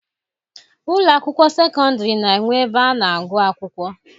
Ụlọ akwụkwọ sekọndịrị na-enwe ebe a na-agụ akwụkwọ.